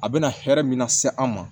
A bɛna hɛrɛ min na se an ma